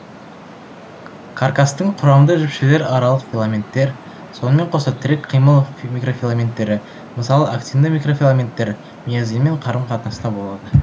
каркастың құрамды жіпшелер аралық филаменттер сонымен қоса тірек қимыл микрофиламенттері мысалы актинді микрофиламенттер миозинмен қарым қатынаста болады